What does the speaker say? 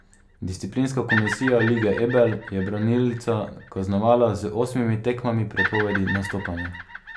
Disciplinska komisija Lige Ebel je branilca kaznovala z osmimi tekmami prepovedi nastopanja.